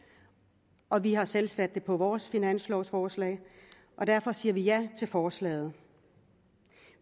og vi har selv sat det på vores finanslovforslag og derfor siger vi ja til forslaget